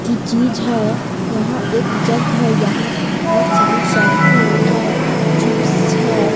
की चीज़ है यहाँ एक जग है | यहाँ पे बहुत सारी शैम्पू है | चिप्स है।